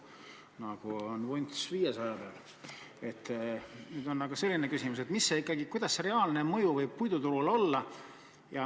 Nüüd on aga selline küsimus, kuidas see reaalne mõju võib puiduturule olla.